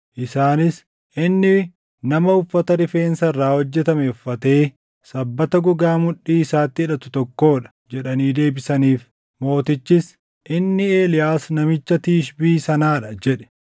Isaanis, “Inni nama uffata rifeensa irraa hojjetame uffatee sabbata gogaa mudhii isaatti hidhatu tokkoo dha” jedhanii deebisaniif. Mootichis, “Inni Eeliyaas namicha Tishbii sanaa dha” jedhe.